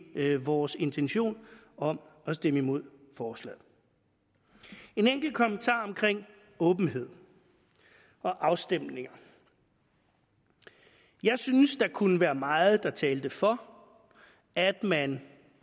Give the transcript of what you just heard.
ikke vores intention om at stemme imod forslaget en enkelt kommentar om åbenhed og afstemninger jeg synes der kunne være meget der talte for at man